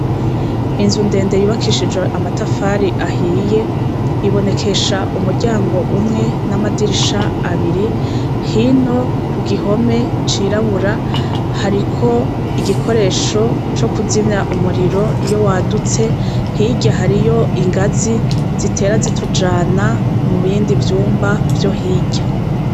Inzu ndende yubakishijwe amatafari ahiye ibonekesha umuryango umwe n'amadirisha abiri. Hino kugihome cirabura hariko igikoresho cokuzimya umuriro iyowadutse; hirya hariyo ingazi zitera zitujana mubindi vyumba vyo hirya.